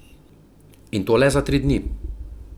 In to le za tri dni.